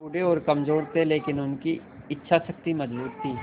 वे बूढ़े और कमज़ोर थे लेकिन उनकी इच्छा शक्ति मज़बूत थी